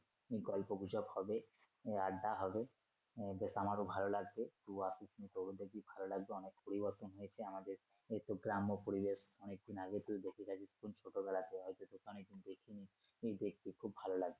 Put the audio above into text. গল্পগুজব হবে আড্ডা হবে আহ বেশ আমারও ভালো লাগবে বূয়া পিসি কে ও ভালো লাগবে অনেক পরিবর্তন হয়েছে আমাদের এই তো গ্রাম্য পরিবেশ অনেক দিন আগে তুই দেখে গেছিস কোন ছোটবেলাতে হয়তো তোকে অনেকদিন দেখিনি তুই দেখবি খুব ভালো লাগবে।